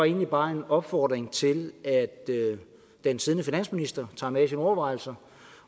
egentlig bare en opfordring til at den siddende finansminister tager med i sine overvejelser